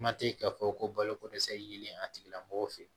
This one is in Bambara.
Kuma tɛ k'a fɔ ko baloko dɛsɛ yelen a tigilamɔgɔ fe ye